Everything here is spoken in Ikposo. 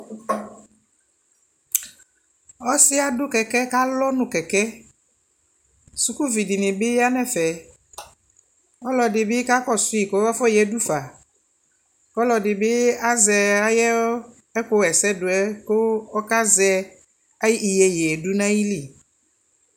Ɔ si adʋ kɛkɛ kalɔ nʋ kɛkɛ Suku vi dι nι ya nʋ ɛfɛ Ɔlʋɔdi bι kakɔsuyi kʋ afɔyadʋ fa kʋ ɔlʋɔdι bι azɛ ayʋ ɛkʋwɛsɛ yɛ kʋɔkazɛ ayʋ iyeyi yɛ dʋ nʋ ayʋ lι